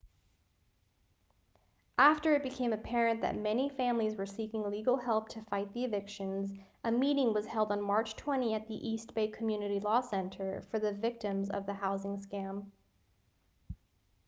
after it became apparent that many families were seeking legal help to fight the evictions a meeting was held on march 20 at the east bay community law center for the victims of the housing scam